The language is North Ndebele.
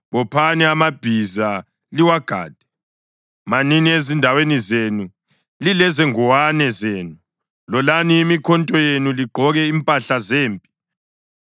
Bophani amabhiza, liwagade! Manini ezindaweni zenu lilezingowane zenu! Lolani imikhonto yenu, ligqoke impahla zempi!